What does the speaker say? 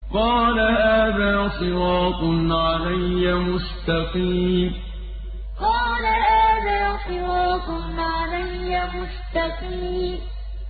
قَالَ هَٰذَا صِرَاطٌ عَلَيَّ مُسْتَقِيمٌ قَالَ هَٰذَا صِرَاطٌ عَلَيَّ مُسْتَقِيمٌ